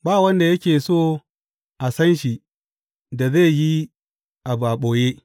Ba wanda yake so a san shi da zai yi abu a ɓoye.